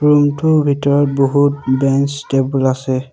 ৰুমটোৰ ভিতৰত বহুত বেঞ্চ টেবুল আছে।